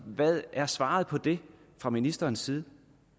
hvad er svaret på det fra ministerens side